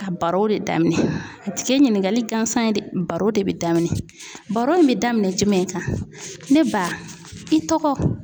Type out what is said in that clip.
A baro de daminɛ a tɛ kɛ ɲininkali gansan ye dɛ baro de bɛ daminɛ baro min bɛ daminɛ jumɛn kan ne ba i tɔgɔ.